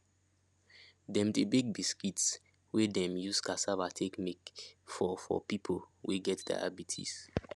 dem dey bake biscuits wey dem use cassava take make for for people wey get diabetes